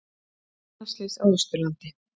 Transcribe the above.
Banaslys á Austurlandi